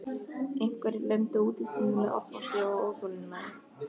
Einhverjir lömdu útidyrnar með offorsi og óþolinmæði.